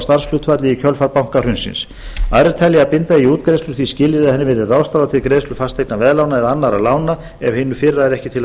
starfshlutfalli í kjölfar bankahrunsins aðrir telja að binda eigi útgreiðslu því skilyrði að henni verði ráðstafað til greiðslu fasteignaveðlána eða annarra lána ef hinu fyrra er ekki til að